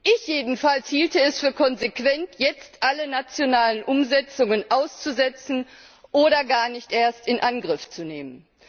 Ich jedenfalls hielte es für konsequent, jetzt alle nationalen Umsetzungen auszusetzen oder gar nicht erst in Angriff zu nehmen.